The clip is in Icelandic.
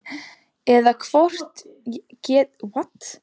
Eða hvort ég geti sjálf axlað ábyrgðina á lífi mínu.